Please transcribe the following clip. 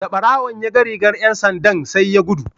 Da barawon ya ga rigar ’yan sandan sai ya gudu.